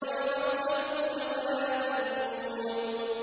وَتَضْحَكُونَ وَلَا تَبْكُونَ